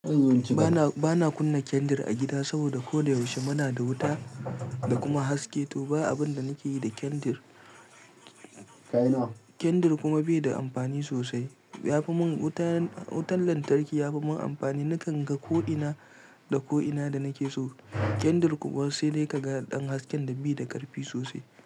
Ba na kunna kendir a gida saboda ko da yaushe muna da wuta da kuma haske, to ba abin da nake yi da kendir. Kendir kuma bai da amfani sosai. Wutan lantarki ya fimin amfani, nakan ga ko ina da ko ina da nake so. Kendir kuwa sai dai ka ga ɗan haske da bai da ƙarfi sosai.